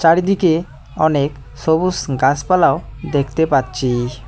চারিদিকে অনেক সবুস গাসপালাও দেখতে পাচ্ছি।